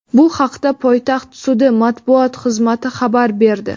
Bu haqda poytaxt sudi matbuot xizmati xabar berdi.